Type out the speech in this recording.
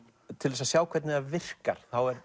til að sjá hvernig það virkar er